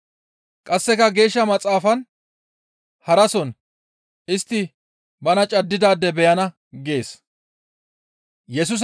Qasseka Geeshsha Maxaafan harason, «Istti bana caddidaade beyana» gees.